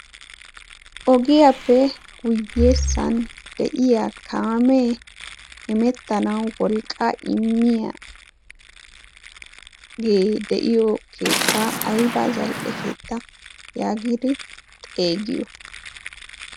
ogiyaappe guyyeessan de7iya kaamee imettanau wolqqa immiyaaagee de7iyo keettaa aiba zal77e keetta yaagidi xeegiyo?